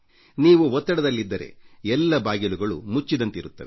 ನೀವು ಒತ್ತಡದಲ್ಲಿದ್ದರೆ ಎಲ್ಲ ಬಾಗಿಲುಗಳು ಮುಚ್ಚಿದಂತಿರುತ್ತವೆ